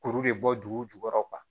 Kuru de bɔ dugu jukɔrɔ